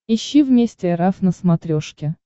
ищи вместе эр эф на смотрешке